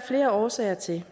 flere årsager til